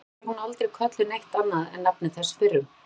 Samtakanna var hún aldrei kölluð neitt annað en nafni þessa fyrrum